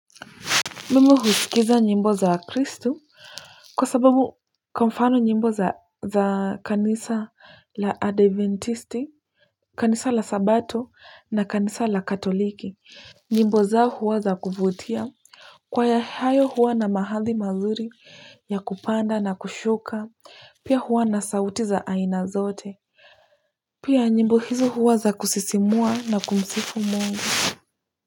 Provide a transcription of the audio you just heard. Mimu husikiza nyimbo za kristu kwa sababu kwa mfano nyimbo za kanisa la adventisti, kanisa la sabato na kanisa la katoliki. Nyimbo zao huwa za kuvutia. Kwaya hayo huwa na mahadhi mazuri ya kupanda na kushuka, pia huwa na sauti za aina zote. Pia nyimbo hizo huwa za kusisimua na kumsifu Mungu.